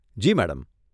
જી madam.